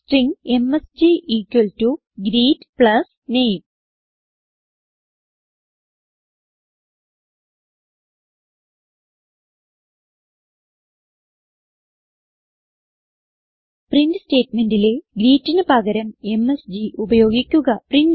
string MSG equal to greet plus name print സ്റ്റേറ്റ്മെന്റിലെ greet ന് പകരം എംഎസ്ജി ഉപയോഗിക്കുകprintln